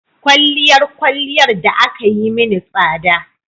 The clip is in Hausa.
Kwalliyar kwalliyar da aka yi mini tsada